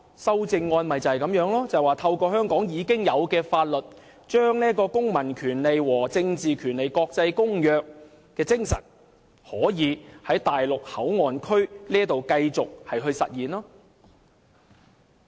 修正案的目的，就是透過香港已有的法律，將《公民權利和政治權利國際公約》的精神在內地口岸區繼續實現。